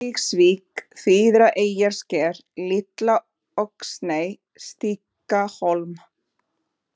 Draugsvík, Fríðareyjarsker, Litla-Öxney, Stakkhólmi